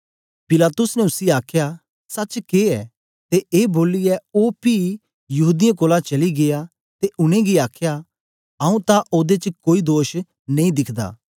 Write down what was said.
पिलातुस ने उसी आखया सच के ऐ ते ए बोलियै ओ पी यहूदीयें कोलां चली गीया ते उनेंगी आखया आऊँ तां ओदे च कोई दोष नेई दिखदा